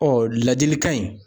ladilikan in